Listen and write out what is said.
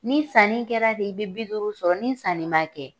Ni sanni kɛra de i be bi duuru sɔrɔ, ni sanni ma kɛ